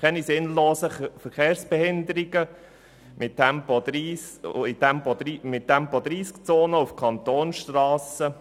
Keine sinnlosen Verkehrsbehinderungen mit Tempo-30-Zonen auf Kantonsstrassen.